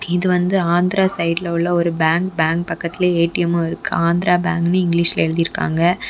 இது வந்து ஆந்திரா சைடுல உள்ள ஒரு பேங்க் . பேங்க் பக்கத்துல ஏ_டி_எம்மு இருக்கு. ஆந்திரா பேங்க்ன்னு இங்கிலீஷ்ல எழுதி இருக்காங்க.